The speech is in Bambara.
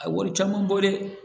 A wari caman bɔ dɛ